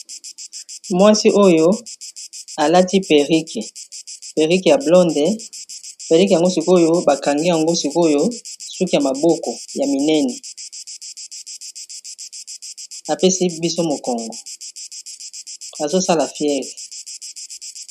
Mwasi oyo, alati perrique, perrique ya blonde. Perrique yango sikoyo, bakanga yango sikoyo suki ya maboko ya minene. Apesi biso mokongo, azo sala fiere.